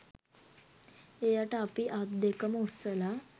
එයට අපි අත්දෙකම උස්සලා